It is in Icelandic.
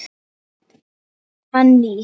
Hann nýr.